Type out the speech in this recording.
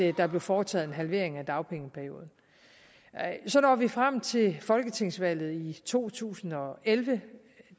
at der blev foretaget en halvering af dagpengeperioden så når vi frem til folketingsvalget i to tusind og elleve